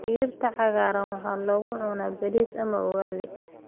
Digirta cagaaran waxaa lagu cunaa bariis ama ugali.